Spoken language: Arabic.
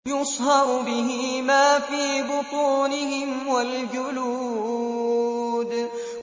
يُصْهَرُ بِهِ مَا فِي بُطُونِهِمْ وَالْجُلُودُ